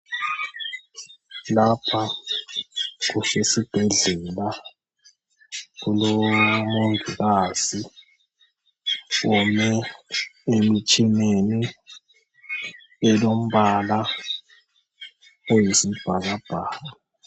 Lapha kusesibhedlela. Kulomongikazi ome emitshineni elombala oyisibhakabhaka.